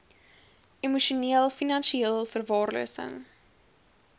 emosioneel finansieel verwaarlosing